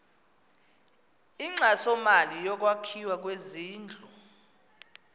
inkxasomali yokwakhiwa kwezindlu